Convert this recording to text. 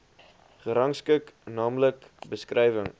gerangskik naamlik beskrywing